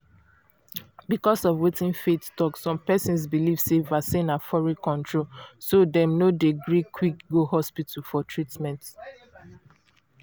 because of wetin faith talk some persons belief sey vaccine na foreign controlso dem no dey gree quick go hospital for treatment.